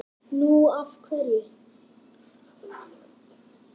Nú. af hverju?